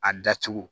A dacogo